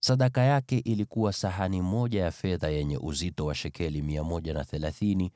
Sadaka aliyoleta ilikuwa sahani moja ya fedha yenye uzito wa shekeli 130,